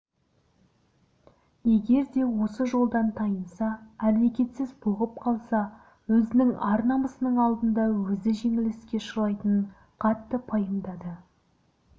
егер де осы жолдан тайынса әрекетсіз бұғып қалса өзінің ар-намысының алдында өзі жеңіліске ұшырайтынын қатты пайымдады